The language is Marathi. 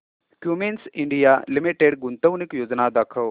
क्युमिंस इंडिया लिमिटेड गुंतवणूक योजना दाखव